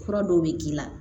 Fura dɔw bɛ k'i la